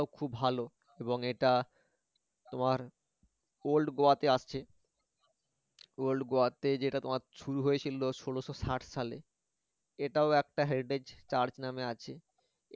খুব ভালো এবং এটা তোমার old গোয়তে আছে old গোয়তে যেটা তোমার শুরু হয়েছিল ষোলশ ষাট সালে এটাও একটা heritage church নামে আছে